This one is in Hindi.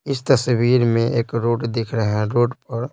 इस तस्वीर में एक रोग दिख रहा है रोड पर--